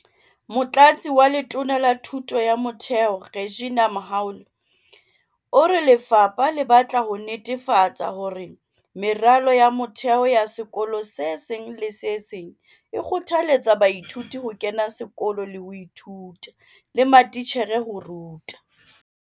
Motlatsi wa Letona la Thuto ya Motheo, Reginah Mhaule, o re lefapha le batla ho netefatsa hore meralo ya motheo ya sekolo se seng le se seng e kgothaletsa baithuti ho kena sekolo le ho ithuta, le matitjhere ho ruta.